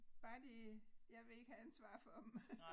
Bare de jeg vil ikke have ansvar for dem